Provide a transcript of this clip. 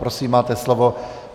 Prosím, máte slovo.